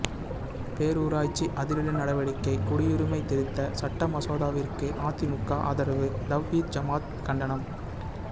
பேரூராட்சி அதிரடி நடவடிக்கை குடியுரிமை திருத்த சட்ட மசோதாவிற்கு அதிமுக ஆதரவு தவ்ஹீத் ஜமாஅத் கண்டனம்